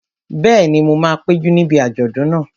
Bẹ́ẹ̀ni, mo máa péjú níbi àjọ̀dún náà